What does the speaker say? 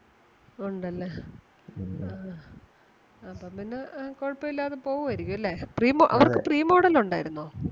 ഒണ്ടല്ലേ ആഹ് അപ്പം പിന്നെ അഹ് കൊഴപ്പം ഇല്ലാതെ പോകുവാരിക്കും ഇല്ലേ? premo അവർക്ക് premodel ഒണ്ടാരുന്നോ?